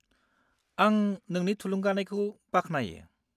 -आं नोंनि थुलुंगानायखौ बाख्नायो।